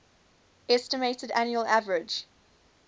estimated annual average